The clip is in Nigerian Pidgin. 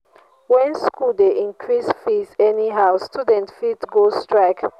when school dey increase fees anyhow students fit go strike.